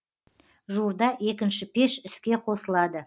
жуырда екінші пеш іске қосылады